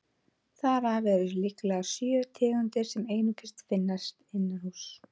Þar af eru líklega sjö tegundir sem einungis finnast innanhúss.